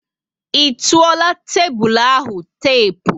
I tuola tébulu ahụ tepu?